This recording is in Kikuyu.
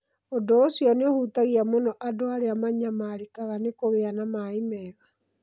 Ũndũ ũcio nĩ ũhutagia mũno andũ arĩa manyamarĩkaga nĩ kũgĩa na maĩ mega.